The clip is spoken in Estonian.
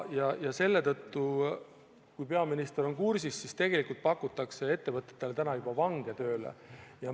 Selle tõttu – ma ei tea, kas peaminister on kursis – pakutakse ettevõtetele juba vange tööle.